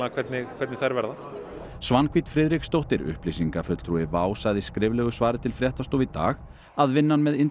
hvernig hvernig þær verða Svanhvít Friðriksdóttir upplýsingafulltrúi WOW sagði í skriflegu svari til fréttastofu í dag að vinnan með